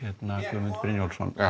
Guðmund Brynjólfsson